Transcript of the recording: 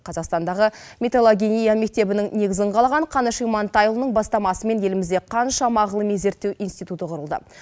қазақстандағы металлогения мектебінің негізін қалаған қаныш имантайұлының бастамасымен елімізде қаншама ғылыми зерттеу институты құрылды